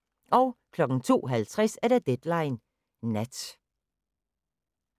02:50: Deadline Nat